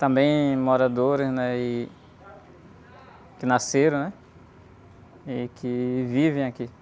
Também moradores, né? E, que nasceram, né? E que vivem aqui.